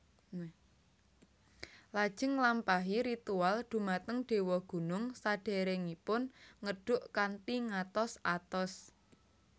Lajeng nglampahi ritual dhumateng dewa gunung sadèrèngipun ngedhuk kanthi ngatos atos